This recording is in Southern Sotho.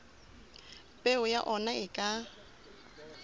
peo ya ona e ka